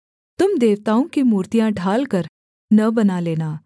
तुम देवताओं की मूर्तियाँ ढालकर न बना लेना